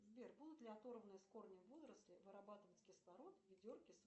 сбер будут ли оторванные с корнем водоросли вырабатывать кислород в ведерке с